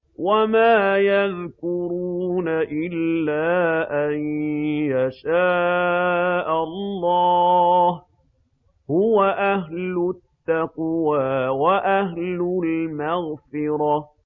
وَمَا يَذْكُرُونَ إِلَّا أَن يَشَاءَ اللَّهُ ۚ هُوَ أَهْلُ التَّقْوَىٰ وَأَهْلُ الْمَغْفِرَةِ